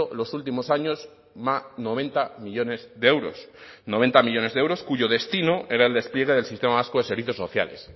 los últimos años noventa millónes de euros noventa millónes de euros cuyo destino era el despliegue del sistema vasco de servicios sociales